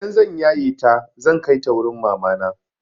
Idan zan yaye ta zan kai ta wurin mamana.